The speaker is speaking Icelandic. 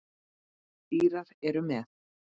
Írar eru með.